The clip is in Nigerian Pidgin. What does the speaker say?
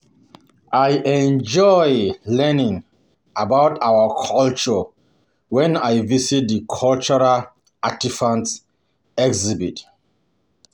I enjoy learning about our about our culture when I visit the cultural artifacts exhibit.